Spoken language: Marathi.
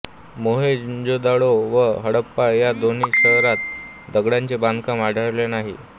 मोहेंजोदडो व हडप्पा या दोन्ही शहरात दगडांचे बांधकाम आढळले नाही